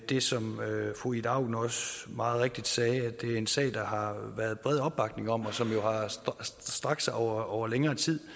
det som fru ida auken meget rigtigt sagde nemlig at det er en sag der har været bred opbakning om og som har strakt sig over over længere tid